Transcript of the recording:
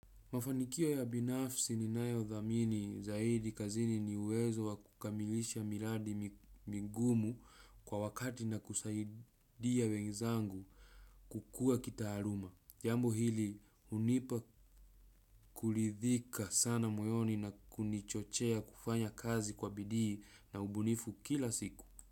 Mafanikio ya binafsi ni nayo dhamini zaidi kazini ni uwezo wakukamilisha miladi mingumu kwa wakati na kusaidia wenzangu kukua kitaharuma. Jambo hili unipa kulidhika sana moyoni na kunichochea kufanya kazi kwa bidii na ubunifu kila siku.